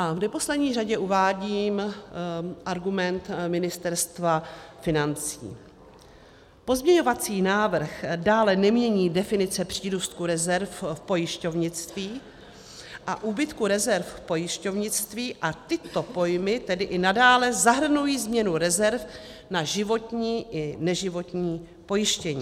A v neposlední řadě uvádím argument Ministerstva financí: Pozměňovací návrh dále nemění definice přírůstku rezerv v pojišťovnictví a úbytku rezerv v pojišťovnictví, a tyto pojmy tedy i nadále zahrnují změnu rezerv na životní i neživotní pojištění.